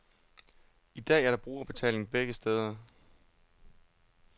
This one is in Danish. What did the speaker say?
I dag er der brugerbetaling begge steder.